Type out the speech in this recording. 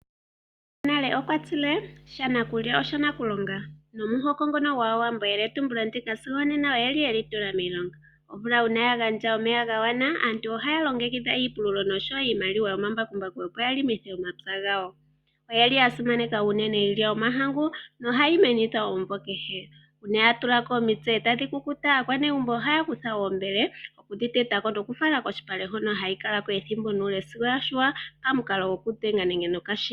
Omukulu gonale okwa tile; shanakulya osha nakulonga. Omuhoko gwAawambo eyeletumbulo ndika sigo onena oye li tula miilonga. Omvula uuna ya gandja omeya ga gwana, aantu ohaya longekidha iipululo noshowo iimaliwa yomambakumbaku, opo ya pululithe omapya gawo. Oya simaneka unene iilya yomahangu, nohayi menithwa omumvo kehe. Uuna ya tula ko omitse e tayi kukuta, aanegumbo ohaya kutha iimbele okudhi teta ko nokudhi fala kolupale hono hayi kala ko ethimbo nuule sigo ya yungulwa pamukalo gokudhenga nenge gokashina.